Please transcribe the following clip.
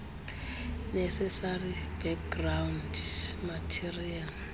necessary background material